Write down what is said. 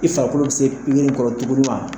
I farikolo tɛ se pikiri in kɔrɔ